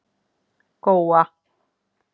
Góa